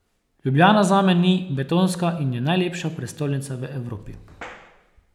Ljubljana zame ni betonska in je najlepša prestolnica v Evropi!